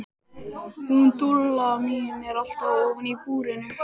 Hún Dúlla mín er alltaf ofan í búrinu.